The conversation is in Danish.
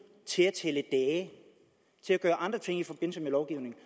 til at tælle dage til at gøre andre ting i forbindelse med lovgivningen